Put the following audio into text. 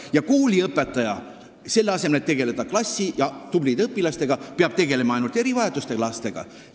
Kas kooliõpetaja, selle asemel et tegelda klassi tublide õpilastega, peab hakkama tegelema ainult erivajadustega lastega?